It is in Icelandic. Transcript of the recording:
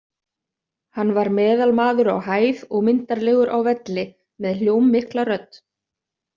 Hann var meðalmaður á hæð og myndarlegur á velli, með hljómmikla rödd.